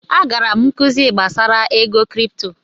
Agara m nkuzi gbasara ego kripto.